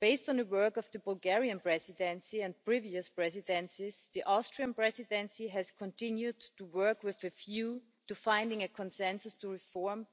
Based on the work of the Bulgarian Presidency and previous presidencies, the Austrian Presidency has continued to work with you to find a consensus to reform